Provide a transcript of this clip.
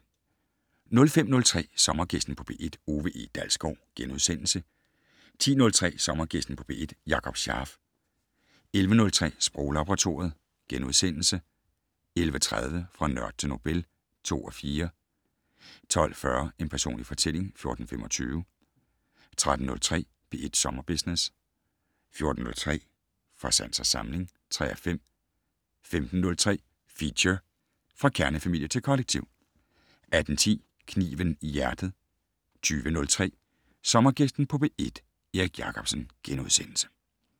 05:03: Sommergæsten på P1: Ove E. Dalsgaard * 10:03: Sommergæsten på P1: Jakob Scharf 11:03: Sproglaboratoriet * 11:30: Fra nørd til Nobel (2:4) 12:40: En personlig fortælling (14:25) 13:03: P1 Sommerbusiness 14:03: Fra sans og samling (3:5) 15:03: Feature: Fra kernefamilie til kollektiv 18:10: Kniven i hjertet 20:03: Sommergæsten på P1: Erik Jacobsen *